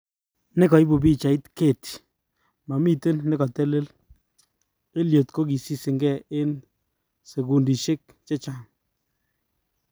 Nekaipu Pichait,:Getty"mamiten nekatelel,"Elliot kokisiseng en sekundishek chehcaang.